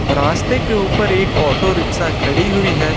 रास्ते के ऊपर एक ऑटो रिक्शा खड़ी हुई है।